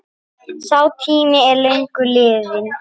Sá tími er löngu liðinn.